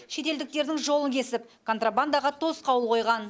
шетелдіктердің жолын кесіп контрабандаға тосқауыл қойған